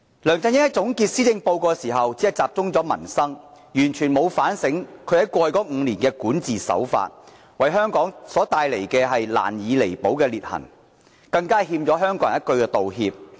梁振英在總結施政報告時只集中討論民生，完全沒有反省他在過去5年的管治手法，為香港帶來難以彌補的裂痕，更欠香港人一句道歉。